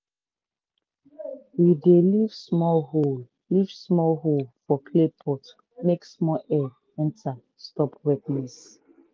we dey leave small hole leave small hole for clay pot make small air enter stop wetness.